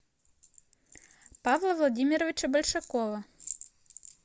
павла владимировича большакова